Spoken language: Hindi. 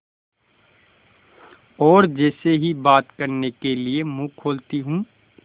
और जैसे ही बात करने के लिए मुँह खोलती हूँ